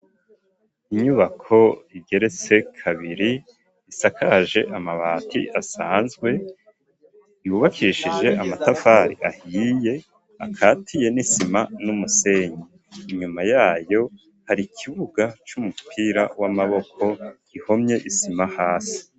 Inyubako igeretse kabiri isakaje amabati asanzwe yubakishije amatafri ahiye akatiye n'isima n'umusenyi, inyuma yayo hari ikibuga c'umupira w'amaboko ihomye isima hasi.